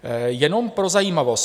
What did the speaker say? Jenom pro zajímavost.